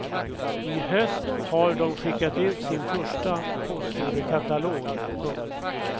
I höst har de skickat ut sin första postorderkatalog. punkt